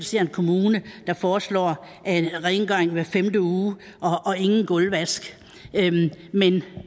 ser at en kommune foreslår rengøring hver femte uge og ingen gulvvask men